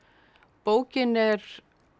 bókin er